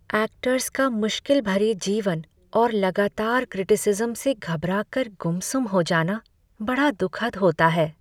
Actors का मुश्किल भरे जीवन और लगातार क्रिटिसिज़्म से घबरा कर गुमसुम हो जाना बड़ा दुखद होता है।